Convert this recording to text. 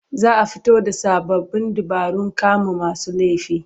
Za a fito da sa abin dabarun kama masu laifi.